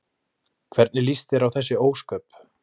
Hvernig líst þér á þessi ósköp?